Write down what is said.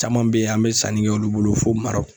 Caman bɛ ye an mɛ sanni kɛ olu bolo fo Marɔki.